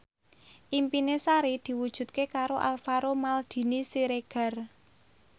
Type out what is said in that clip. impine Sari diwujudke karo Alvaro Maldini Siregar